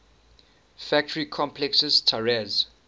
factory complexes tiraz